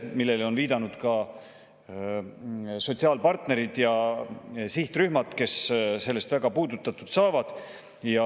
Sellele on viidanud ka sotsiaalpartnerid ja sihtrühmad, keda väga puudutab.